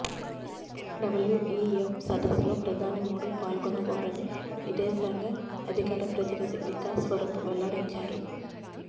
WEF సదస్సులో ప్రధాని మోడీ పాల్గొనబోరని విదేశాంగశాఖ అధికారప్రతినిధి వికాస్ స్వరూప్ వెల్లడించారు